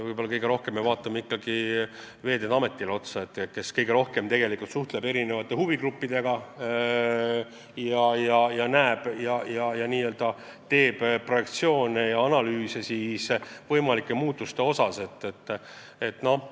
Eelkõige me vaatame otsa Veeteede Ametile, kes kõige rohkem huvigruppidega suhtleb ja võimalike muutuste projektsioone ja analüüse teeb.